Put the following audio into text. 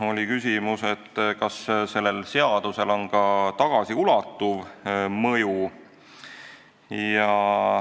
Oli küsimus, kas sellel seadusel on ka tagasiulatuv mõju.